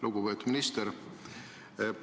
Lugupeetud minister!